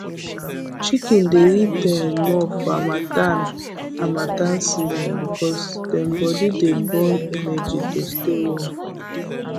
chicken dey eat um more for harmattan harmattan season because dem body dey burn energy to stay warm